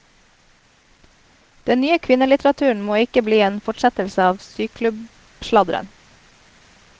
Den nye kvinnelitteraturen må ikke bli en fortsettelse av syklubbsladderen.